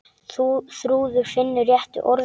Þrúður finnur réttu orðin.